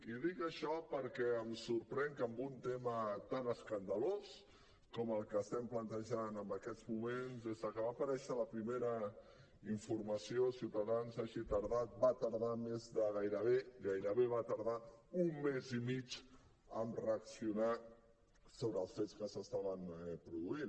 i dic això perquè em sorprèn que en un tema tan escandalós com el que estem plantejant en aquests moments des que va aparèixer la primera informació ciutadans va tardar més de gairebé un mes i mig a reaccionar sobre els fets que s’estaven produint